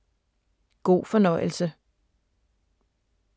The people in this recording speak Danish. God fornøjelse.